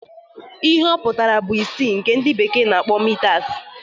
Ihe ọ pụtara bu isii na nke ndị bekee na-akpọ mitas